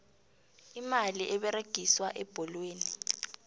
imali eberegiswa ebholweni